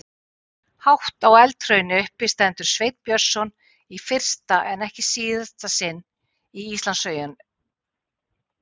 Hátt á eldhrauni uppi stendur Sveinn Björnsson í fyrsta en ekki síðasta sinn í Íslandssögunni.